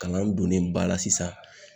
Kalan donnen ba la sisan.